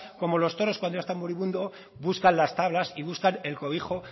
como los toros cuando ya están moribundos buscan las tablas y buscan el cobijo